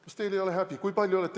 Kas teil ei ole häbi?!